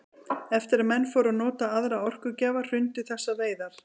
Eftir að menn fóru að nota aðra orkugjafa hrundu þessar veiðar.